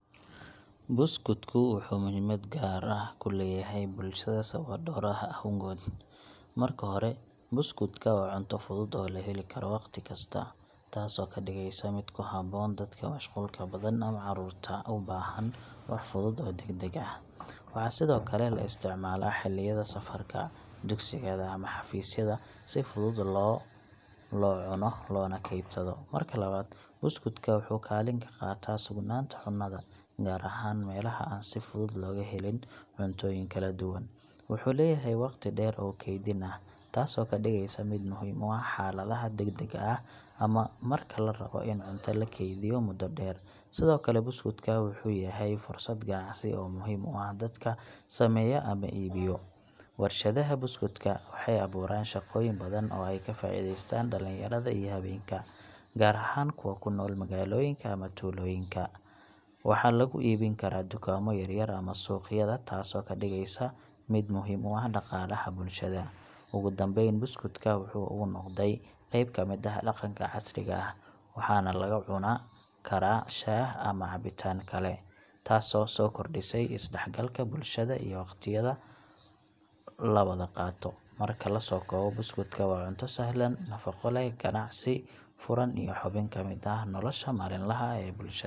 Buskudku wuxuu muhiimad gaar ah ku leeyahay bulshada sababo dhowr ah awgood. Marka hore, buskudka waa cunto fudud oo la heli karo waqti kasta, taasoo ka dhigaysa mid ku habboon dadka mashquulka badan ama carruurta u baahan wax fudud oo degdeg ah. Waxaa sidoo kale la isticmaalaa xilliyada safarka, dugsiga, ama xafiisyada si fudud loo cuno loona kaydsado. Marka labaad, buskudka wuxuu kaalin ka qaataa sugnaanta cunnada, gaar ahaan meelaha aan si fudud looga helin cuntooyin kala duwan. Wuxuu leeyahay waqti dheer oo kaydin ah, taasoo ka dhigaysa mid muhiim u ah xaaladaha degdegga ah ama marka la rabo in cunto la kaydiyo muddo dheer. Sidoo kale, buskudka wuxuu yahay fursad ganacsi oo muhiim u ah dadka sameeya ama iibiyo. Warshadaha buskudka waxay abuuraan shaqooyin badan oo ay ka faa'iidaystaan dhalinyarada iyo haweenka, gaar ahaan kuwa ku nool magaalooyinka ama tuulooyinka. Waxaa lagu iibin karaa dukaamo yaryar ama suuqyada, taasoo ka dhigeysa mid muhiim u ah dhaqaalaha bulshada. Ugu dambeyn, buskudka waxa uu noqday qayb ka mid ah dhaqanka casriga ah, waxaana lagu cuni karaa shaah ama cabitaan kale, taasoo soo kordhisay isdhexgalka bulshada iyo waqtiyada la wada qaato. Marka la soo koobo, buskudku waa cunto sahlan, nafqo leh, ganacsi furan iyo xubin ka mid ah nolosha maalinlaha ah ee bulshada.